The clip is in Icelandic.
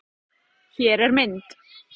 Hér er mynd